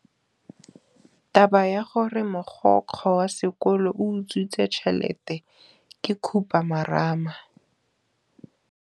Taba ya gore mogokgo wa sekolo o utswitse tšhelete ke khupamarama.